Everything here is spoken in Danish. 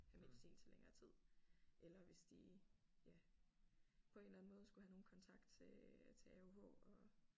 Have medicin til længere tid eller hvis de ja på en eller anden måde skulle have nogen kontakt til til AOH og